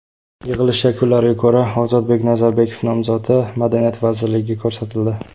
Yig‘ilish yakunlariga ko‘ra, Ozodbek Nazarbekov nomzodi madaniyat vaziriligiga ko‘rsatildi.